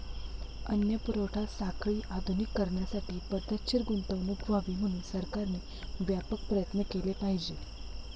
अन्न पुरवठा साखळी आधुनिक करण्यासाठी पद्धतशीर गुंतवणूक व्हावी म्हणून सरकारने व्यापक प्रयत्न केले पाहिजेत.